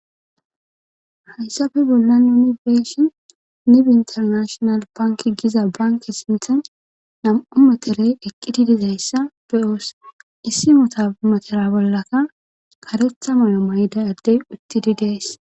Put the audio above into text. hayssafe bollan yunibeshin nibi internashonal banki giza banke sinthan nam7u materey eqqiti dizayssa beyoos issi motamatere bollaka karetha mayo mayda addey uttidi gees